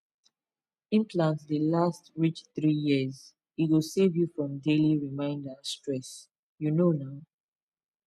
implant dey last reach three years e go save you from daily reminder stress you know na